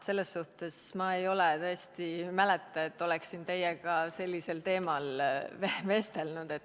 Selles suhtes ma tõesti ei mäleta, et oleksin teiega sellisel teemal vestelnud.